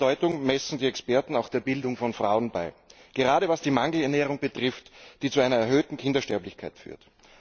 Große Bedeutung messen die Experten auch der Bildung von Frauen bei, gerade was die Mangelernährung betrifft, die zu einer erhöhten Kindersterblichkeit führt.